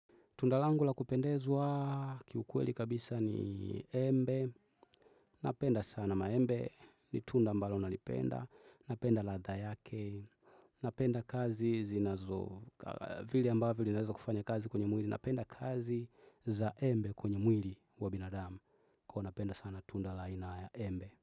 Tunda langu la kupendezwa aaa, kiukweli kabisa ni Embe, Napenda sana maembe, ni tunda mbalo nalipenda, napenda ladha yake, napenda kazi zinazo aah, vile ambavyo linaweza kufanya kazi kwenye mwili, napenda kazi za Embe kwenye mwili wa binadamu, ko napenda sana tunda la aina a ya Embe.